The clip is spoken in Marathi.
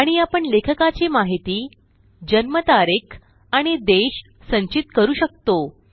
आणि आपण लेखकाची माहिती जन्मतारीख आणि देश संचित करू शकतो